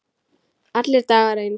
Allir dagar eins.